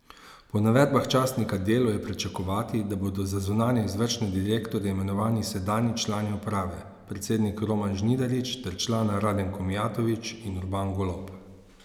Po navedbah časnika Delo je pričakovati, da bodo za zunanje izvršne direktorje imenovani sedanji člani uprave, predsednik Roman Žnidarič ter člana Radenko Mijatović in Urban Golob.